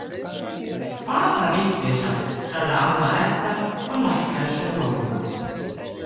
Hvaða vitleysa, sagði amma Edda og lækkaði svo róminn.